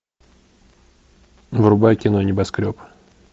врубай кино небоскреб